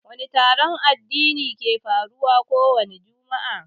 Wani taron addini ke faruwa kowani jumu'a?